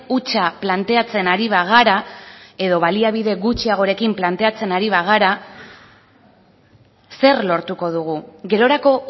hutsa planteatzen ari bagara edo baliabide gutxiagorekin planteatzen ari bagara zer lortuko dugu gerorako